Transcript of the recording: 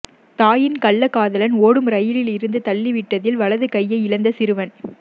தாயின் கள்ளக்காதலன் ஓடும் ரயிலில் இருந்து தள்ளிவிட்டதில் வலது கையை இழந்த சிறுவன்